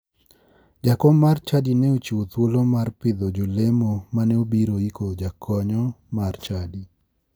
Jakom mar chadi ne ochiwo thuolo mar pidho jolemo mane obiro yiko jakanyo mar chadi.